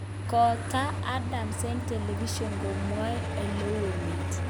Kotaak Adams eng television komwae oleu emet